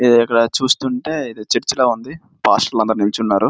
ఇది ఇక్కడ చూస్తుంటే ఏదో చర్చి ల ఉంది పాస్టర్లు అందరూ నిలుచున్నారు.